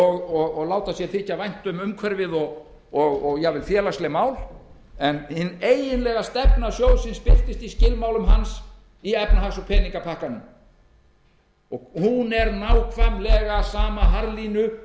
og láta sér þykja vænt um umhverfið og jafnvel félagsleg mál en hin eiginlega stefna sjóðsins birtist í skilmálum hans í efnahags og peningapakkanum hún er nákvæmlega sama